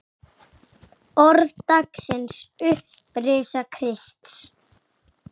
Orð dagsins Upprisa Krists